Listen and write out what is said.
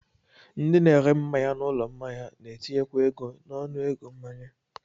Ndị na-ere mmanya n'ụlọ mmanya na-etinyekwa ego n'ọnụego mmanya